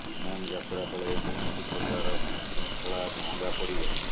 ବିମାନ ଯାତ୍ରା ବେଳେ କୌଣସି ପ୍ରକାର ବିଶୃଙ୍ଖଳା ମହଙ୍ଗା ପଡ଼ିବ